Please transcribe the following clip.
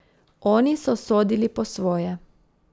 Oni so sodili po svoje.